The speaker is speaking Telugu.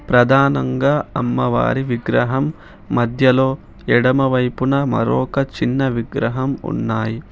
ప్రధానంగా అమ్మవారి విగ్రహం మధ్యలో ఎడమవైపున మరొక చిన్న విగ్రహం ఉన్నాయి.